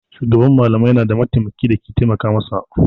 Shugaban malamai yana da mataimaki da ke taimaka masa.